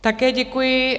Také děkuji.